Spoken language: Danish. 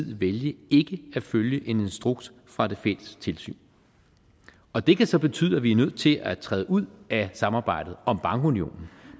vælge ikke at følge en instruks fra det fælles tilsyn og det kan så betyde at vi er nødt til at træde ud af samarbejdet om bankunionen